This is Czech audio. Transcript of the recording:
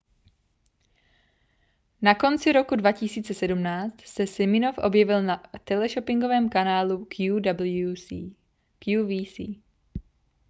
na konci roku 2017 se siminoff objevil na teleshoppingovém kanálu qvc